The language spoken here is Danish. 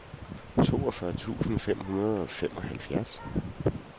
toogfyrre tusind fem hundrede og femoghalvfjerds